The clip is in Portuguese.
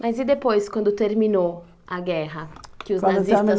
Mas e depois, quando terminou a guerra, que os nazistas